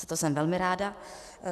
Za to jsem velmi ráda.